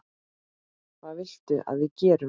Hvað viltu að við gerum?